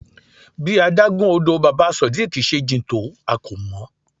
Bí adágún odò Baba Sodiq se jìn tó a kò mọ̀.